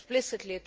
...explicitly